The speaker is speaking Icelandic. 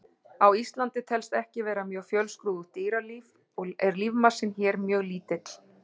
Á Íslandi telst ekki vera mjög fjölskrúðugt dýralíf og er lífmassinn hér mjög lítill.